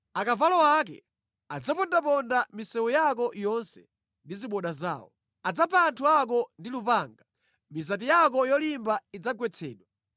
Akavalo ake adzapondaponda mʼmisewu yako yonse ndi ziboda zawo. Adzapha anthu ako ndi lupanga. Mizati yako yolimba idzagwetsedwa.